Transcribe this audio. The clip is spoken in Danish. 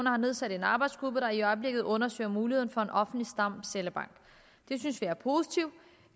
har nedsat en arbejdsgruppe der i øjeblikket undersøger mulighederne for en offentlig stamcellebank det synes vi er positivt